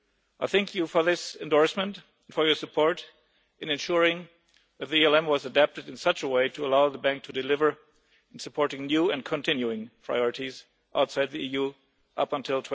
I thank you for this endorsement and for your support in ensuring the ELM was adapted in such a way as to allow the bank to deliver in supporting new and continuing priorities outside the EU up until